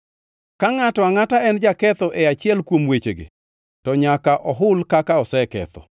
Ka ngʼato angʼata en jaketho e achiel kuom wechegi, to nyaka ohul kaka oseketho,